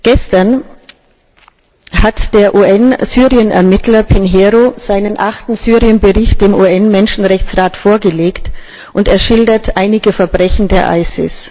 Gestern hat der UN Syrienermittler Pinheiro seinen achten Syrien Bericht dem UN Menschenrechtsrat vorgelegt, und er schildert einige Verbrechen des IS.